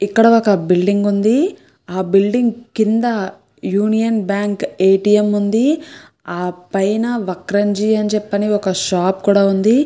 ఇక్కడ ఒక బిల్డింగ్ ఉంది ఆ బిల్డింగ్ కింద Union Bank A. T. M. ఉంది ఆ పైన వక్రంజి అని చెప్పి అని ఒక షాప్ కూడా ఉంది.